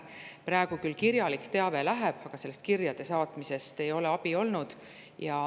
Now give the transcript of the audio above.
Praegu küll kirjalik teave, aga sellest kirjade saatmisest ei ole abi olnud.